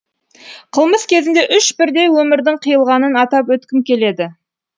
қылмыс кезінде үш бірдей өмірдің қиылғанын атап өткім келеді